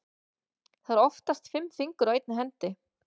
Það eru oftast fimm fingur á einni hendi.